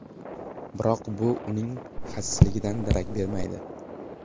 Biroq bu uning xasisligidan darak bermaydi.